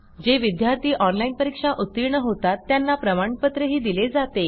जे विद्यार्थी ऑनलाईन परीक्षा उत्तीर्ण होतात त्यांना प्रमाणपत्रही दिले जाते